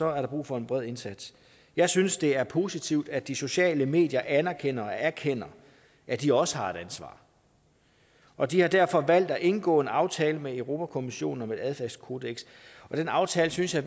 er der brug for en bred indsats jeg synes det er positivt at de sociale medier anerkender og erkender at de også har et ansvar og de har derfor valgt at indgå en aftale med europa kommissionen om et adfærdskodeks den aftale synes jeg